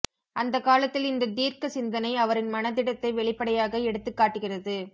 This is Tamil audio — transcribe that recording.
அந்தக் காலத்தில் இந்த தீர்க்க சிந்தனை அவரின் மனதிடத்தை வெளிப்படையாக எடுத்துக்காட்டுகிறது